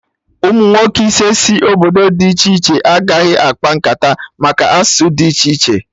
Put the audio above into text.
Umunwoke ise si obodo dị iche iche agaghị akpa nkata maka asụsụ dị iche iche